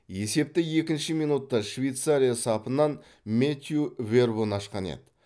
есепті екінші минутта швейцария сапынан мэттью вербун ашқан еді